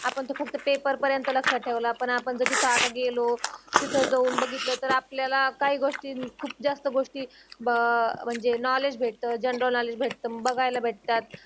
आपण ते फक्त पेपर पर्यंत लक्षात ठेवलं. पण आपण कधीच गेलो तीत जाऊन बगीटल तर आपल्याल काही गोष्टी खूप जास्त गोष्टी भ म्हंजे नोवलेड्ज भेटत जनरल नोवलेड्ज भेटत, बगायला भेटत्यात